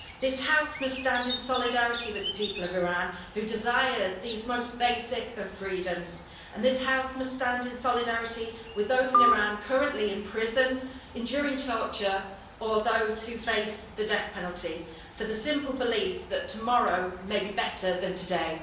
This House must stand in solidarity with the people of Iran, who desire these most basic of freedoms, and this House must stand in solidarity with those in Iran currently in prison, enduring torture, or those who face the death penalty for the simple belief that tomorrow may be better than today.